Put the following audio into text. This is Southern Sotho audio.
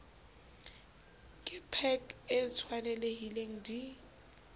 ke pac e tshwanelehileng di